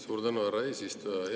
Suur tänu, härra eesistuja!